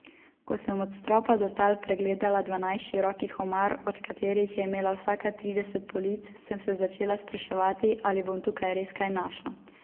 Naslednji dan je ministrica odstopila.